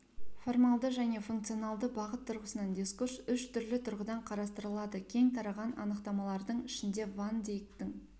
формалды және функционалды бағыт тұрғысынан дискурс үш түрлі тұрғыдан қарастырылады кең тараған анықтамалардың ішінде ван дейктің